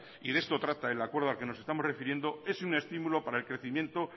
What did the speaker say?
y de esto trata el acuerdo al que nos estamos refiriendo es un estímulo para el crecimiento